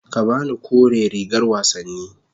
Ka ba ni kore rigar wasanni.